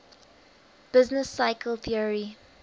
business cycle theory